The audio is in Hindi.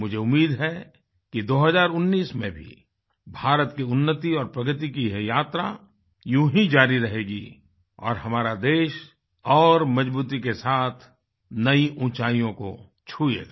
मुझे उम्मीद है कि 2019 में भी भारत की उन्नति और प्रगति की यह यात्रा यूं ही जारी रहेगी और हमारा देश और मजबूती के साथ नयी ऊंचाइयों को छुयेगा